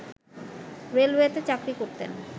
রেলওয়েতে চাকরি করতেন